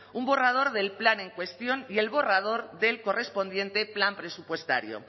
un borrador del plan en cuestión y el borrador del correspondiente plan presupuestario